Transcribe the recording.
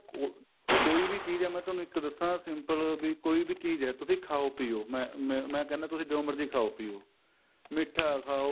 ਉਹ ਕੋਈ ਵੀ ਚੀਜ਼ ਏ ਮੈਂ ਤੁਹਾਨੂੰ ਇੱਕ ਦੱਸਾਂ simple ਬੀ ਕੋਈ ਵੀ ਚੀਜ਼ ਏ ਤੁਸੀਂ ਖਾਉ ਪਿਉ ਮੈਂ ਮੈਂ ਕਹਿਣਾ ਤੁਸੀਂ ਜੋ ਮਰਜੀ ਖਾਉ ਪਿਉ ਮਿੱਠਾ ਖਾਉ